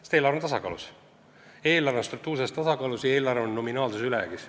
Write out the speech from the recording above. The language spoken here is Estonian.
Sest eelarve on tasakaalus: see on struktuurses tasakaalus ja nominaalses ülejäägis.